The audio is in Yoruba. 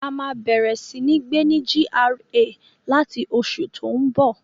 A máa bẹ̀rẹ̀ sí ní gbé ní GRA láti oṣù tó n bọ̀